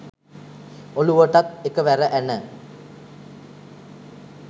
ඔළුවටත් එක වැර ඇන